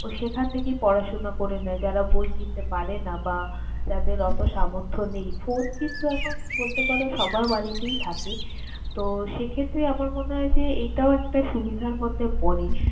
সেখান থেকেই পড়াশোনা করে নেয় যারা বই কিনতে পারে না বা যাদের অতো সামর্থ্য নেই। ফোন কিন্তু এখন বলতে পারো সবার বাড়িতেই থাকে। তো, সেক্ষেত্রে আমার মনে হয় যে এটাও একটা সুবিধার মধ্যে পরে।